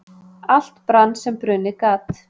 Allt brann sem brunnið gat